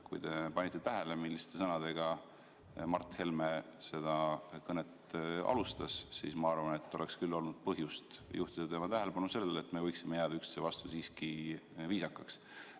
Kui te panite tähele, milliste sõnadega Mart Helme seda kõnet alustas, siis ma arvan, et oleks küll olnud põhjust juhtida tema tähelepanu sellele, et me võiksime jääda üksteise vastu siiski viisakaks.